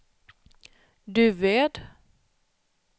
Duved